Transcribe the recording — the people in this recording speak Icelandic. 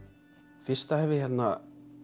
fyrsta hef ég hérna